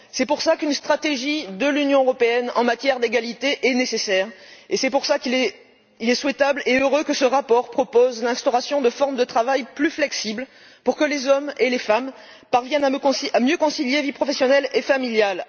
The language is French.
C'est pour cela qu'une stratégie de l'Union européenne en matière d'égalité est nécessaire et c'est pour cela qu'il est souhaitable et heureux que ce rapport propose l'instauration de formes de travail plus flexibles, afin que les hommes et les femmes parviennent à mieux concilier vie professionnelle et vie familiale.